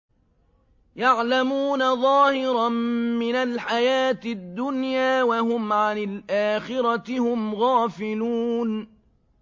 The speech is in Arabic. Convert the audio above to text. يَعْلَمُونَ ظَاهِرًا مِّنَ الْحَيَاةِ الدُّنْيَا وَهُمْ عَنِ الْآخِرَةِ هُمْ غَافِلُونَ